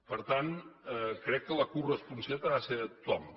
per tant crec que la coresponsabilitat ha de ser de tothom